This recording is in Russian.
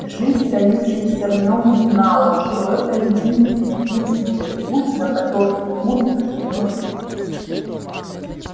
жизнь таившаяся в нём знала что это единственный путь в мир путь на который ему суждено ступить